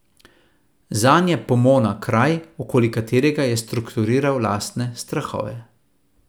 Zanj je Pomona kraj, okoli katerega je strukturiral lastne strahove.